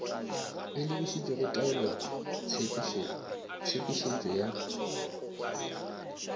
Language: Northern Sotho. e lebišitšego go taolotshepetšo ya